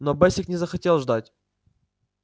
но бэсик не захотел ждать